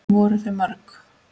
Voru þau mörg?